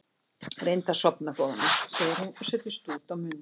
Reyndu að sofna góða mín, segir hún og setur stút á munninn.